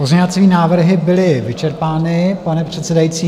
Pozměňovací návrhy byly vyčerpány, pane předsedající.